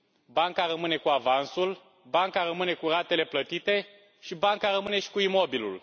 Banca rămâne cu avansul, banca rămâne cu ratele plătite și banca rămâne și cu imobilul.